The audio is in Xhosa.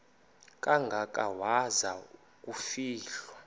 kangaka waza kufihlwa